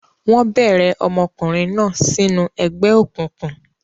Wọ́n bẹ̀rẹ̀ ọmọkùnrin náà sínú ẹgbẹ́ òkùnkùn.